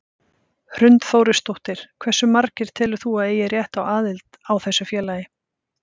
Hrund Þórsdóttir: Hversu margir telur þú að eigi rétt á aðild á þessu félagi?